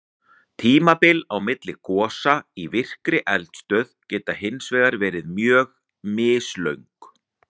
Tímabil á milli gosa í virkri eldstöð geta hins vegar verið mjög mislöng.